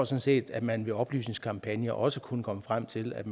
set at man ved oplysningskampagner også kunne komme frem til at